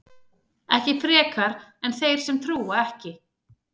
ekki frekar en þeir sem trúa ekki